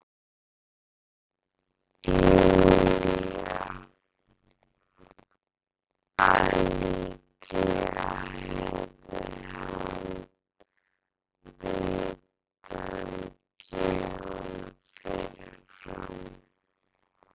Júlíu að líklega hefði hann vitað um gjöfina fyrirfram.